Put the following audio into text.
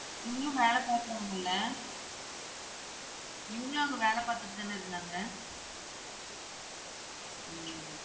இவங்களும் வேல பாக்குறாங்கள்ள? இவங்களும் அங்க வேல பாத்துட்டு தான இருந்தாங்க? உம்